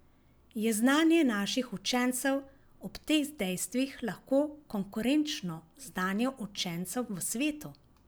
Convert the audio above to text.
Je znanje naših učencev ob teh dejstvih lahko konkurenčno znanju učencev v svetu?